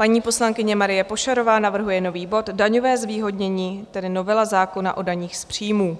Paní poslankyně Marie Pošarová navrhuje nový bod - Daňové zvýhodnění, tedy novela zákona o daních z příjmů